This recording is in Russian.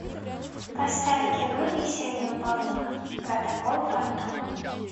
поставь кино миссия невыполнима протокол фантом